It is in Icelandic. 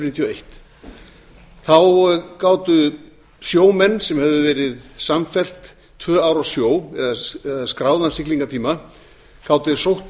níutíu og eitt þá gátu sjómenn sem höfðu verið samfellt tvö ár á sjó eða skráðan siglingatíma sótt